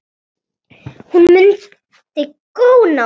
Hún mundi góna á dömuna.